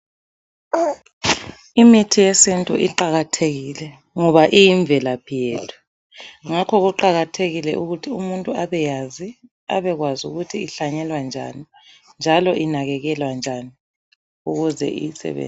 Imithi yesintu iqakathekile ngoba iyimvelaphi yethu ngakho kuqakathekile ukuthi umuntu abeyazi, abekwazi ukuthi ihlanyelwa njani njalo inakekelwa njani ukuze eyisebenzise.